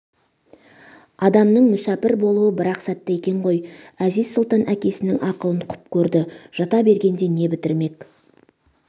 адамның мүсәпір болуы бір-ақ сәтте екен ғой әзиз-сұлтан әкесінің ақылын құп көрді жата бергенде не бітірмек